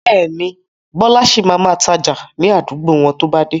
Bẹ́ẹ̀ni, Bọlá sì máa ma tája ni àdúgbò wọn to bá dé.